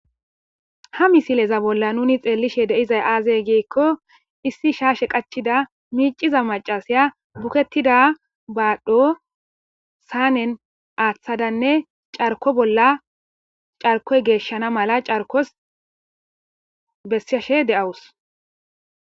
ha misileza bolla nuni xeellishe deizay aazey giikko issi shaashe qachida miiciza macasiya buketida baadhdho saanen aaththadanne carko bolla carkoy geeshshana mala carkos bessashe de7awus